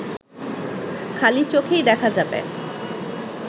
খালি চোখেই দেখা যাবে